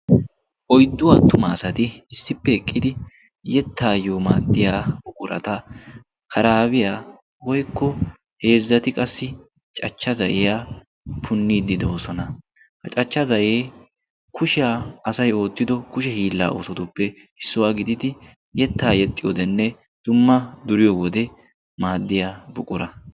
Oyddu attuma asati issippe eqqidi yettaayyo maaddiya buqurata karaabiyaa woykko heezzati qassi cachcha za7iya punniiddi de'osona. ha cachcha zal"e kushiyaa asay oottido kushe hiillaa oosotuppe issuwaa gididi yettaa yexxi wodenne dumma duriyo wode maaddiya buqura